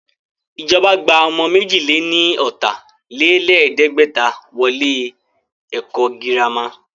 Ìjọba gba ọmọ méjì lè ní ọ̀tà-lé-lẹ̀ẹ́dẹ́gbẹ̀ta wọ ilé ẹ̀kọ́ girama